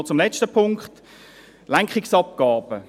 Noch zum letzten Punkt: Lenkungsabgaben.